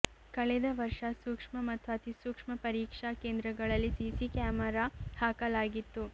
ಕಳೆದ ವರ್ಷ ಸೂಕ್ಷ್ಮ ಮತ್ತು ಅತಿಸೂಕ್ಷ್ಮ ಪರೀಕ್ಷಾ ಕೇಂದ್ರಗಳಲ್ಲಿ ಸಿಸಿ ಕ್ಯಾಮೆರಾ ಹಾಕಲಾಗಿತ್ತು